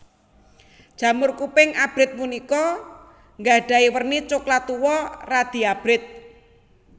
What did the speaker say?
Jamur kuping abrit punika nggadhahi werni coklat tuwa radi abrit